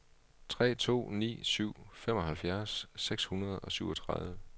tre to ni syv femoghalvfems seks hundrede og syvogtredive